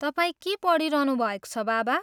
तपाईँ के पढिरहनुभएको छ, बाबा?